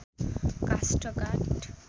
काष्ठ काठ